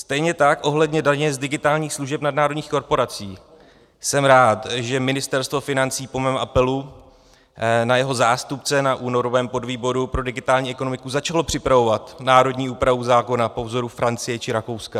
Stejně tak ohledně daně z digitálních služeb nadnárodních korporací jsem rád, že Ministerstvo financí po mém apelu na jeho zástupce na únorovém podvýboru pro digitální ekonomiku začalo připravovat národní úpravu zákona po vzoru Francie či Rakouska.